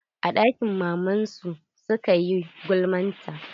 A ɗakin maman su suka yi gulma ta.